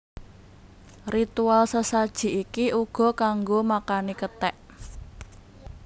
Ritual sesaji iki uga kanggo makani kethek